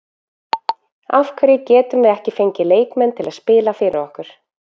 Af hverju getum við ekki fengið leikmenn til að spila fyrir okkur?